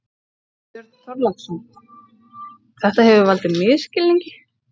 Björn Þorláksson: Þetta hefur valdið misskilningi?